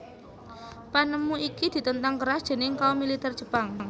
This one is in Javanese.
Panemu iki ditentang keras déning kaum militer Jepang